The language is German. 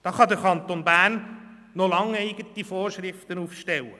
Da kann der Kanton Bern noch lange eigene Vorschriften aufstellen.